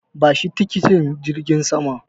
Bashi tikitin jirgin saman.